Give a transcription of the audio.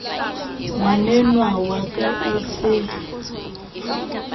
ngwanenwa wa ka e se